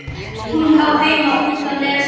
Hún á heima úti á Nesi?